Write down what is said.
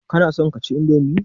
Kana son kaci indomi?